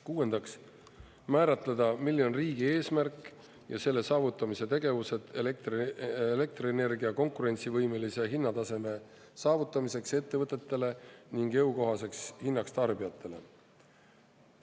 Kuuendaks, määratleda, milline on riigi eesmärk ja selle saavutamise tegevused elektrienergia konkurentsivõimelise hinnataseme saavutamiseks ettevõtetele ning jõukohaseks hinnaks tarbijatele.